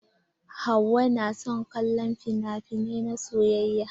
Hauwa na son kallon finafinai na soyayya.